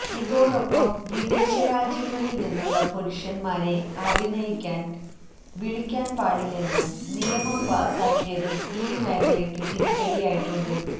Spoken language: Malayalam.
ഇതോടൊപ്പം വിദേശ രാജ്യങ്ങളിൽ നിന്നുള്ള പുരുഷൻമാരെ അഭിനയിക്കാൻ വിളിക്കാൻ പാടില്ലെന്നും നിയമം പാസാക്കിയതും ഈ മേഖലയ്ക്കു തിരിച്ചടിയായിട്ടുണ്ട്